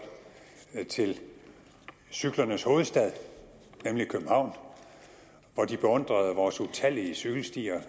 til cyklernes hovedstad nemlig københavn og de beundrede vores utallige cykelstier